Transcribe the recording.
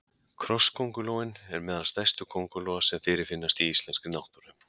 krossköngulóin er meðal stærstu köngulóa sem fyrirfinnast í íslenskri náttúru